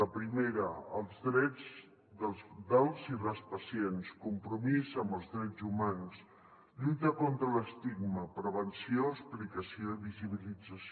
la primera els drets dels i les pacients compromís amb els drets humans lluita contra l’estigma prevenció explicació i visibilització